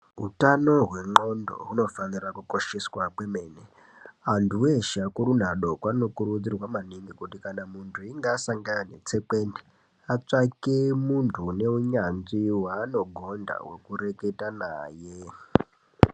Hutano hwenqgondo hunofanira kukosheswa kwemene, antu veshe, vakuru nevadoko vanokurudzirwa maningi kuti kana muntu wasangana netsekwende atsvage muntu unehunyanzvi hwaanogonda wekureketa naye.